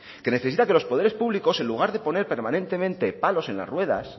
que necesita que los poderes públicos en lugar de poner permanentemente palos en las ruedas